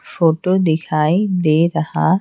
photo दिखाई दे रहा--